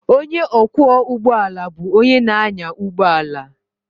Onye ọkwọ ụgbọ ala bụ onye na-anya ụgbọ ala